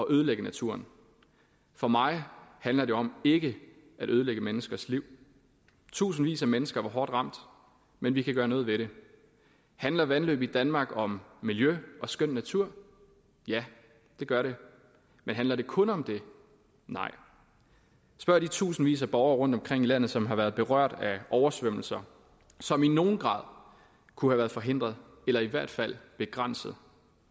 ødelægge naturen for mig handler det om ikke at ødelægge menneskers liv tusindvis af mennesker var hårdt ramt men vi kan gøre noget ved det handler vandløb i danmark om miljø og skøn natur ja det gør det men handler det kun om det nej spørg de tusindvis af borgere rundtomkring i landet som har været berørt af oversvømmelser som i nogen grad kunne være forhindret eller i hvert fald begrænset